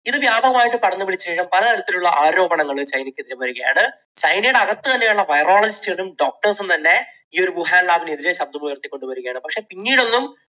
അതിന് ഇതു വ്യാപകമായി പടർന്നു പിടിച്ചതിനു ശേഷം പലതരത്തിലുള്ള ആരോപണങ്ങൾ ചൈനക്കെതിരെ വരികയാണ്. ചൈനയുടെ അകത്ത് തന്നെയുള്ള virologist കളും doctors സും തന്നെ ഈയൊരു വുഹാൻ lab നെതിരെ ശബ്ദമുയർത്തിക്കൊണ്ടുവരികയാണ്. പക്ഷേ പിന്നീട് ഒന്നും